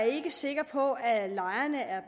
ikke sikker på at lejerne er